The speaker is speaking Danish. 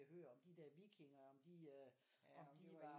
Hør om de der vikinger om de øh om de